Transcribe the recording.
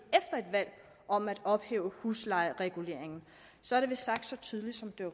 valg om at ophæve huslejereguleringen så er det vist sagt så tydeligt som det